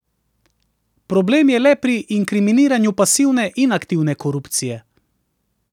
Problem je le pri inkriminiranju pasivne in aktivne korupcije.